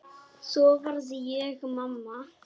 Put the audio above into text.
Svo varð ég mamma.